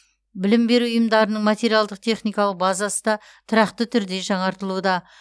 білім беру ұйымдарының материалдық техникалық базасы да тұрақты түрде жаңартылуда